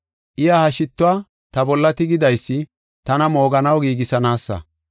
Iya ha shittuwa ta bolla tigidaysi tana mooganaw giigisanaasa.